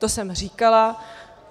To jsem říkala.